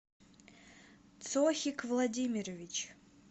цохик владимирович